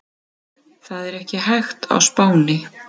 Það er ekki hægt á Spáni.